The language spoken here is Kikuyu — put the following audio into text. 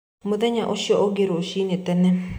Mũthenya ũcio ũngĩ rũcine tene